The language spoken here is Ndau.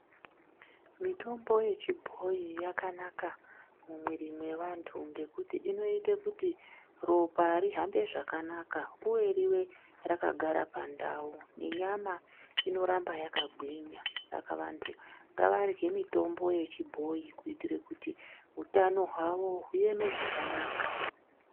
Mitombo yechibhoyi yakanaka mumwiri mwevantu ngekuti inoite kuti ropa rihanbe zvakanaka uye rive rakagara pandau nenyama inoramba yakagwinya saka vantu ngavarye mitombo yechibhoyi kuitire kuti utano hwavo hueme zvakanaka.